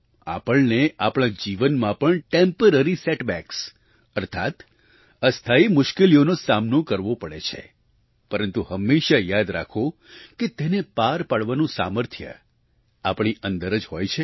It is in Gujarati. આપણને આપણા જીવનમાં પણ ટેમ્પરરી સેટબેક્સ અર્થાત્ અસ્થાયી મુશ્કેલીઓનો સામનો કરવો પડે છે પરંતુ હંમેશાં યાદ રાખો કે તેને પાર પાડવાનું સામર્થ્ય આપણી અંદર જ હોય છે